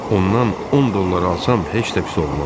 Ondan 10 dollar alsam heç də pis olmaz.